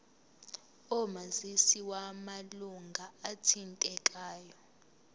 omazisi wamalunga athintekayo